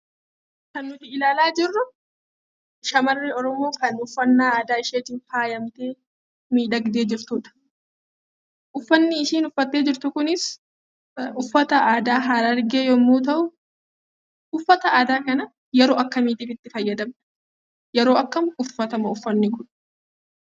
Kan nuti ilaalaa jirru shamarri Oromoo kan uffannaa aadaa isheetiin faayamatee miidhagdee jirtudha. Uffanni ishiin uffattee jirtu kunis uffata aadaa harargee yemmuu ta'u, uffata aadaa kana yeroo akkamiitiif itti fayyadamna? Yeroo akkamii uffatama uffanni kun?